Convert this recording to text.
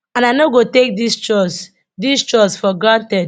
and i no go take dis trust dis trust for granted